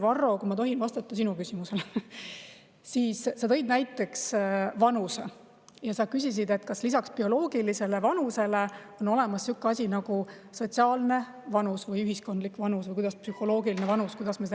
Varro, kui ma tohin vastata sinu küsimusele, siis sa tõid näiteks vanuse ja küsisid, kas lisaks bioloogilisele vanusele on olemas siuke asi nagu sotsiaalne vanus või ühiskondlik vanus või – kuidas me seda nimetame?